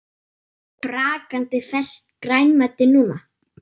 Og brakandi ferskt grænmeti núna?